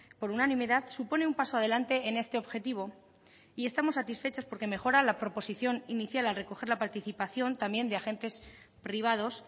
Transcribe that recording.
por unanimidad supone un paso adelante en este objetivo y estamos satisfechos porque mejora la proposición inicial al recoger la participación también de agentes privados